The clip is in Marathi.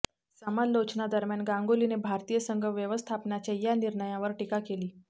समालोचना दरम्यान गांगुलीने भारतीय संघ व्यवस्थापनाच्या या निर्णयावर टीका केली